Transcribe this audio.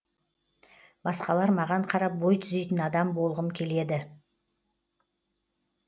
басқалар маған қарап бой түзейтін адам болғым келеді